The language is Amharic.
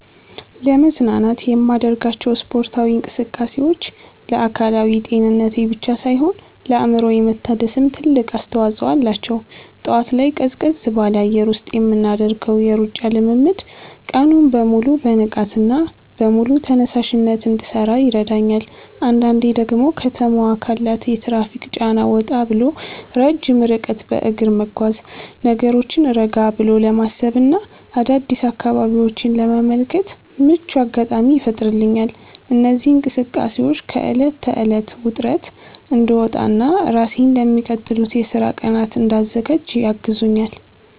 ለመዝናናት የማደርጋቸው ስፖርታዊ እንቅስቃሴዎች ለአካላዊ ጤንነቴ ብቻ ሳይሆን ለአእምሮዬ መታደስም ትልቅ አስተዋጽኦ አላቸው። ጠዋት ላይ ቀዝቀዝ ባለ አየር ውስጥ የምናደርገው የሩጫ ልምምድ ቀኑን በሙሉ በንቃትና በሙሉ ተነሳሽነት እንድሠራ ይረዳኛል። አንዳንዴ ደግሞ ከተማዋ ካላት የትራፊክ ጫና ወጣ ብሎ ረጅም ርቀት በእግር መጓዝ፣ ነገሮችን ረጋ ብሎ ለማሰብና አዳዲስ አካባቢዎችን ለመመልከት ምቹ አጋጣሚ ይፈጥርልኛል። እነዚህ እንቅስቃሴዎች ከዕለት ተዕለት ውጥረት እንድወጣና ራሴን ለሚቀጥሉት የሥራ ቀናት እንድዘጋጅ ያግዙኛል።